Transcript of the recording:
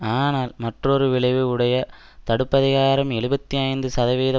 ஆனால் மற்றொரு விளைவு உடைய தடுப்பதிகாரம் எழுபத்தி ஐந்து சதவிகித